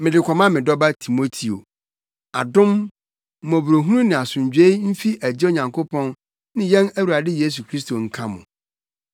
Mede kɔma me dɔba Timoteo: Adom, mmɔborɔhunu ne asomdwoe mfi Agya Nyankopɔn ne yɛn Awurade Kristo Yesu nka wo.